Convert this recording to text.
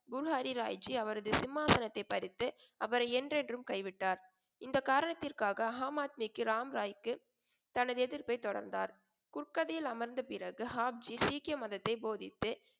குரு ஹரிராய்ஜி அவரது சிம்மாசனத்தைப் பறித்து அவரை என்றென்றும் கைவிட்டார். இந்தக் காரணத்திற்க்காக ஆமாத்மிக்கு ராம்ராய்க்கு தனது எதிர்ப்பை தொடர்ந்தார். குர்கதியில் அமர்ந்த பிறகு ஆப்ஜி சீக்கிய மதத்தைப் போதித்து,